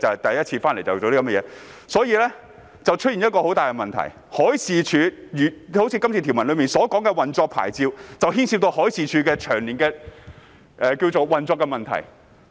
當中出現了一個很大的問題，就是《條例草案》條文提及的運作牌照，牽涉到海事處長年的運作問題。